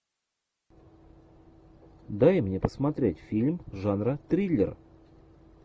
дай мне посмотреть фильм жанра триллер